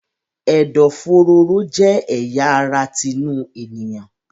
Ẹ̀dọ̀-fòróró jẹ́ ẹ̀ya ara tinú ènìyàn.